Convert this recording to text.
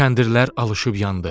Kəndirlər alışıb yandı.